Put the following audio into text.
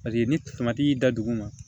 Paseke ni y'i da duguma